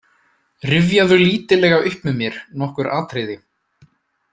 Rifjaðu lítillega upp með mér nokkur atriði.